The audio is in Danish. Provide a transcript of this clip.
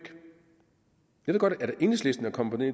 jeg ved godt at enhedslisten er kommet